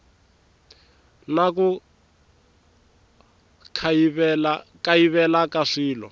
na ku kayivela ka swilo